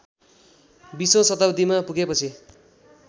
बीसौँ शताब्‍दीमा पुगेपछि